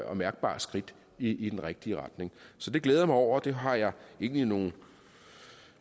og mærkbart skridt i den rigtige retning så det glæder jeg mig over og det har jeg egentlig nogle